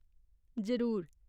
जरूर !